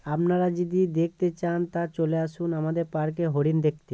আপনারা যদি দেখতে চান তা চলে আসুন আমাদের পার্কে হরিণ দেখতে।